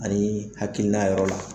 Ani hakilina yɔrɔ la